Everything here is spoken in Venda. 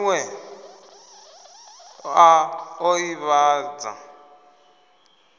ha miwe a o ivhadza